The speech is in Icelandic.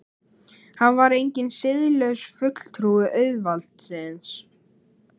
Hann var enginn siðlaus fulltrúi auðvaldsins.